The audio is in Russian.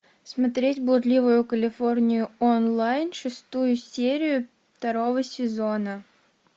смотреть блудливую калифорнию онлайн шестую серию второго сезона